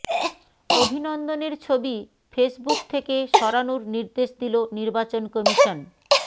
অভিনন্দনের ছবি ফেসবুক থেকে সরানোর নির্দেশ দিল নির্বাচন কমিশন